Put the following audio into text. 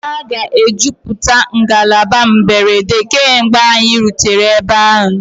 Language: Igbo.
A ga-ejupụta ngalaba mberede mgbe anyị ga-erute ebe ahụ.